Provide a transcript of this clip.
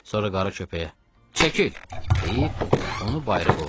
Sonra qara köpəyə: "Çəkil!" deyib, onu bayıra qovladı.